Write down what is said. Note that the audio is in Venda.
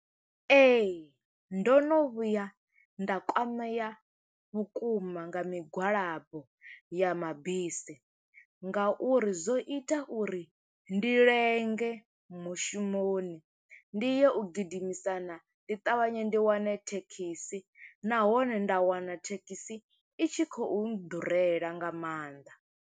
Ee, ndo no vhuya nda kwamea vhukuma nga migwalabo ya mabisi, nga uri zwo ita uri ndi lenge mushumoni, ndi ye u gidimisana, ndi ṱavhanye ndi wane thekhisi. Nahone nda wana thekhisi, i tshi khou ḓurela nga maanḓa.